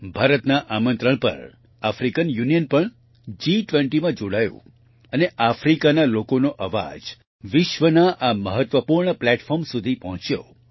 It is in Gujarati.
ભારતના આમંત્રણ પર આફ્રિકન યુનિયન પણ G20માં જોડાયું અને આફ્રિકાના લોકોનો અવાજ વિશ્વના આ મહત્વપૂર્ણ પ્લેટફોર્મplatform સુધી પહોંચ્યો